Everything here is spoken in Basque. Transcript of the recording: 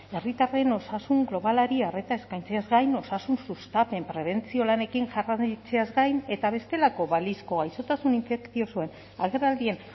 herritarren osasun globalari arreta eskaintzeaz gain osasun sustapen prebentzio lanekin jarraitzeaz gain eta bestelako balizko gaixotasun infekziosoen agerraldien